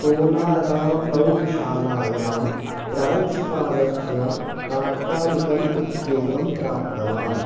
सोनारामप्रौढशालायां प्रांशुपालस्य तात्कालिकम् उद्योगं प्राप्तवान्